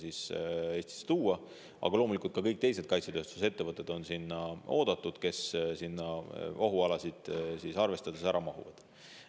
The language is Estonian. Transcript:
Aga loomulikult on sinna oodatud ka kõik teised kaitsetööstusettevõtted, kes ohualasid arvestades ära mahuvad.